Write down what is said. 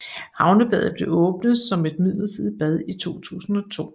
Havnebadet blev åbnet som et midlertidig bad i 2002